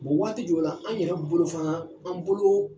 Bon waati jɔwla an yɛrɛ bolo fana an boloo